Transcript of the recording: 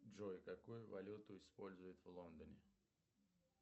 джой какую валюту используют в лондоне